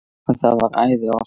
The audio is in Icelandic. Og það var æði oft.